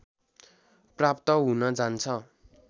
प्राप्त हुन जान्छ